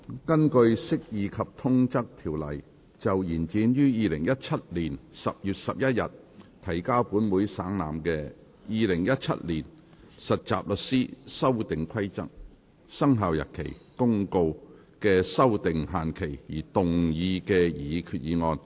根據《釋義及通則條例》就延展於2017年10月11日提交本會省覽的《〈2017年實習律師規則〉公告》的修訂期限而動議的擬議決議案。